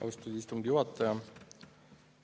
Austatud istungi juhataja!